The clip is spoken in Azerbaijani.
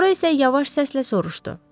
Sonra isə yavaş səslə soruşdu: